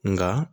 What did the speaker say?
Nka